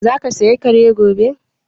Za ka saya Kare gobe?